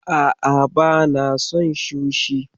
A'a bana son sushi.